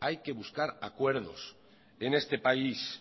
hay que buscar acuerdos en este país